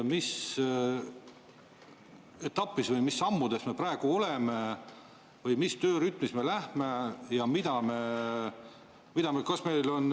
Mis etapis või mis sammude juures me praegu oleme või mis töörütmis me läheme ja mida me?